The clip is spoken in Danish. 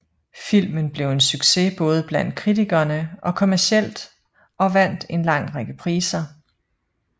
Filmen blev en succes både blandt kritikerne og kommercielt og vandt en lang række priser